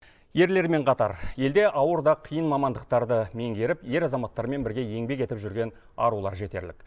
ерлермен қатар елде ауыр да қиын мамандықтарды меңгеріп ер азаматтармен бірге еңбек етіп жүрген арулар жетерлік